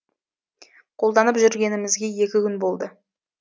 қолданып жүргенімізге екі күн болды